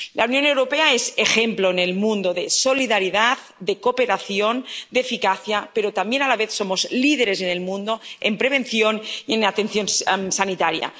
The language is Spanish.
La Unión Europea es ejemplo en el mundo de solidaridad, de cooperación, de eficacia, pero también a la vez somos líderes en el mundo en prevención y en atención sanitaria.